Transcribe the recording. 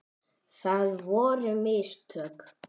Það voru mistök.